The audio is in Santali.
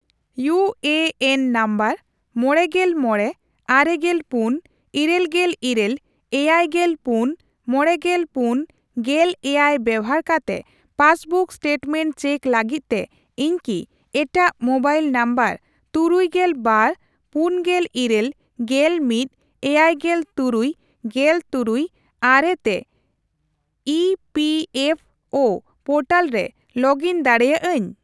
ᱤᱭᱩ ᱮ ᱮᱱ ᱱᱟᱢᱵᱟᱨ ᱢᱚᱲᱮᱜᱮᱞ ᱢᱚᱲᱮ ,ᱟᱨᱮᱜᱮᱞ ᱯᱩᱱ ,ᱤᱨᱟᱹᱞ ᱜᱮᱞ ᱤᱨᱟᱹᱞ ,ᱮᱭᱟᱭᱜᱮᱞ ᱯᱩᱱ ,ᱢᱚᱲᱮᱜᱮᱞ ᱯᱩᱱ ,ᱜᱮᱞ ᱮᱭᱟᱭ ᱵᱮᱵᱷᱟᱨ ᱠᱟᱛᱮ ᱯᱟᱥᱵᱩᱠ ᱮᱥᱴᱮᱴᱢᱮᱱᱴ ᱪᱮᱠ ᱞᱟᱹᱜᱤᱫᱛᱮ ᱤᱧ ᱠᱤ ᱮᱴᱟᱜ ᱢᱳᱵᱟᱭᱤᱞ ᱱᱟᱢᱵᱟᱨ ᱛᱩᱨᱩᱭᱜᱮᱞ ᱵᱟᱨ ,ᱯᱩᱱᱜᱮᱞ ᱤᱨᱟᱹᱞ ,ᱜᱮᱞ ᱢᱤᱛ ,ᱮᱭᱟᱭᱜᱮᱞ ᱛᱩᱨᱩᱭ ,ᱜᱮᱞᱛᱩᱨᱩᱭ ,ᱟᱨᱮ ᱛᱮ E P F O portal ᱨᱮ ᱞᱚᱜ ᱤᱱ ᱫᱟᱲᱮᱭᱟᱜᱼᱟᱹᱧ ?